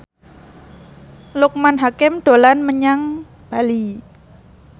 Loekman Hakim dolan menyang Bali